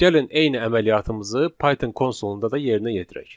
Gəlin eyni əməliyyatımızı Python konsolunda da yerinə yetirək.